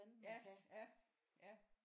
Ja ja ja